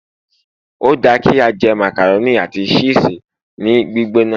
o da ki a je macaroni ati ṣisi ni gbigbona